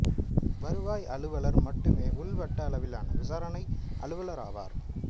வருவாய் அலுவலர் மட்டுமே உள் வட்ட அளவிலான விசாரணை அலுவலர் ஆவார்